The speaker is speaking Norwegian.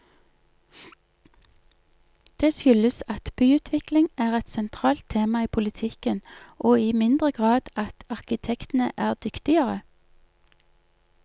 Det skyldes at byutvikling er et sentralt tema i politikken og i mindre grad at arkitektene er dyktigere.